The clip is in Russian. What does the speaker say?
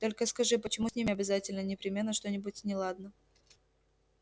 только скажи почему с ними обязательно непременно что-нибудь неладно